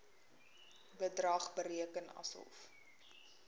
bedrag bereken asof